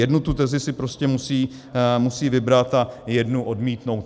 Jednu tu tezi si prostě musí vybrat a jednu odmítnout.